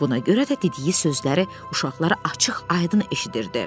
Buna görə də dediyi sözləri uşaqlar açıq-aydın eşidirdi.